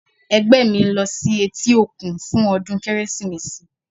Ẹgbẹ́ mi ń lọ sí etí òkun fún ọdún Kérésìmesì.